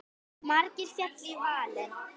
Margir féllu í valinn.